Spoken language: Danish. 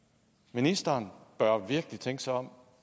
ministeren bør virkelig tænke sig om